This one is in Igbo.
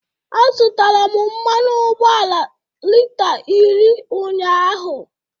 Azụtara m mmanụ ụgbọala lita iri ụnyaahụ.